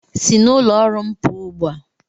Si n'ụlọ ọrụ m pụọ ugbu a!